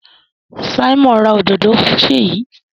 Simon rà òdodo fún Seyi.